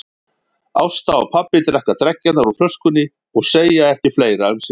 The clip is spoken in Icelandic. Ásta og pabbi drekka dreggjarnar úr flöskunni og segja ekki fleira um sinn.